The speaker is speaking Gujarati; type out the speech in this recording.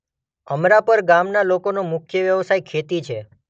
અમરાપર ગામના લોકોનો મુખ્ય વ્યવસાય ખેતી છે.